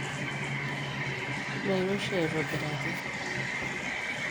meiro oshi aitobiraki